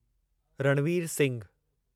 Ranveer Singhu